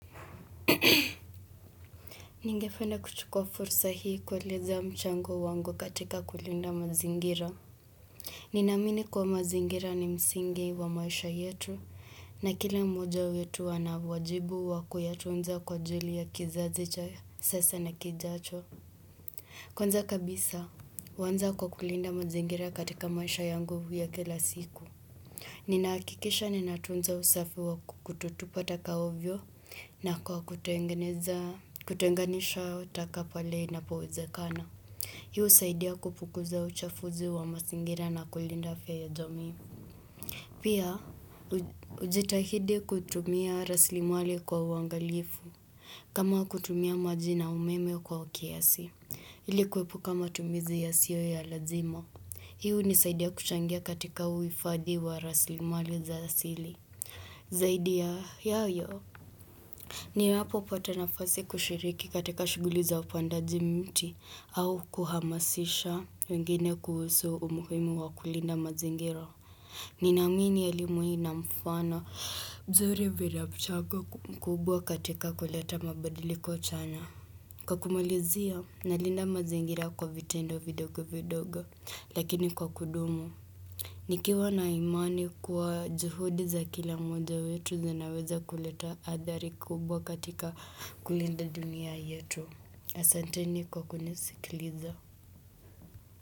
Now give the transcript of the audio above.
Ningependa kuchukua fursa hii kueleza mchango wangu katika kulinda mazingira. Ninaamini kuwa mazingira ni msingi wa maisha yetu na kila mmoja wetu ana uwajibu wa kuyatunza kwa ajili ya kizazi cha sasa na kijacho. Kwanza kabisa, uanza kwa kulinda mazingira katika maisha yangu ya kila siku. Ninahakikisha ninatunza usafi wa kutotupa taka ovyo na kwa kutengeneza kutenganisha utaka pale inapowezekana. Hii husaidia kupukuza uchafuzi wa mazingira na kulinda afya ya jamii. Pia, ujitahidi kutumia raslimali kwa uangalifu. Kama kutumia majina umeme kwa ukiasi. Ili kwepuka matumizi yasiyo ya lazima. Hii hunisaidia kuchangia katika uhifadi wa rasilimali za asili. Zaidi ya yayo, ninapopata nafasi kushiriki katika shughuli za upandaji mti au kuhamasisha wengine kuhusu umuhimu wa kulinda mazingira. Ninaamini elimu hii ina mfana mzuri vila mchago mkubwa katika kuleta mabadiliko chana. Kwa kumalizia, nalinda mazingira kwa vitendo vidogo vidogo, Lakini kwa kudumu. Nikiwa na imani kuwa juhudi za kila mmoja wetu zinaweza kuleta adhari kubwa katika kulinda dunia yetu. Asanteni kwa kunisikiliza.